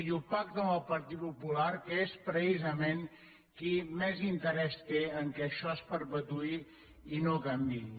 i ho pacta amb el partit popular que és precisament qui més interès té que això es perpetuï i no canviï